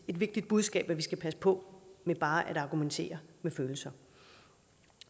vigtigt budskab at vi skal passe på med bare at argumentere med følelser